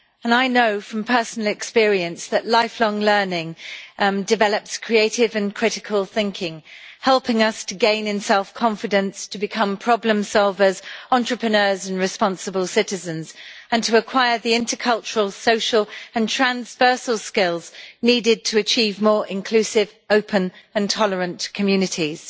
I know from personal experience that lifelong learning develops creative and critical thinking, helping us to gain in self confidence, to become problem solvers, entrepreneurs and responsible citizens, and to acquire the intercultural social and transversal skills needed to achieve more inclusive, open and tolerant communities.